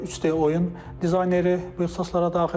3D oyun dizayneri bu ixtisaslara daxildir.